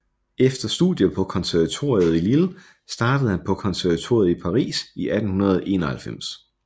Efter studier på konservatoriet i Lille startede han på konservatoriet i Paris i 1881